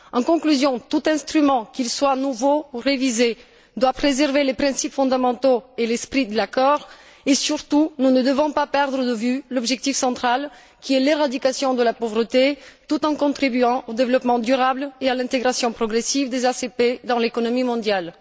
En conclusion, tout instrument, qu'il soit nouveau ou révisé, doit préserver les principes fondamentaux et l'esprit de l'accord et, surtout, nous ne devons pas perdre de vue l'objectif central, qui est l'éradication de la pauvreté, tout en contribuant au développement durable et à l'intégration progressive des ACP dans l'économie mondiale.